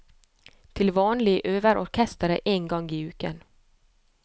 Til vanlig øver orkesteret én gang i uken.